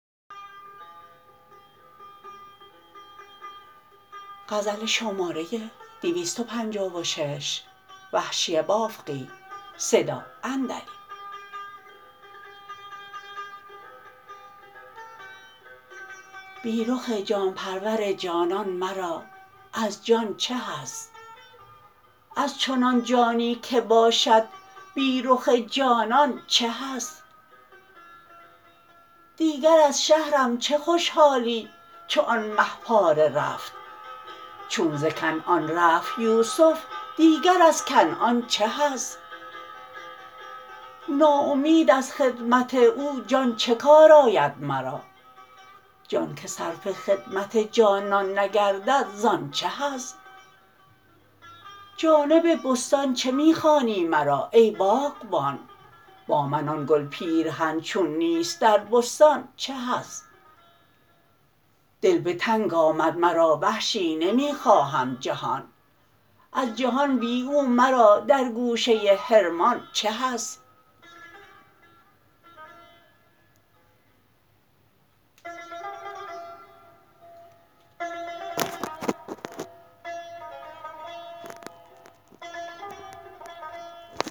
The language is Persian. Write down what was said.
بی رخ جان پرور جانان مرا از جان چه حظ از چنان جانی که باشد بی رخ جانان چه حظ دیگر از شهرم چه خوشحالی چو آن مه پاره رفت چون ز کنعان رفت یوسف دیگر از کنعان چه حظ ناامید از خدمت او جان چه کار آید مرا جان که صرف خدمت جانان نگردد زان چه حظ جانب بستان چه می خوانی مرا ای باغبان با من آن گل پیرهن چون نیست در بستان چه حظ دل به تنگ آمد مرا وحشی نمی خواهم جهان از جهان بی او مرا در گوشه حرمان چه حظ